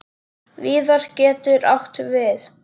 Víðar getur átt við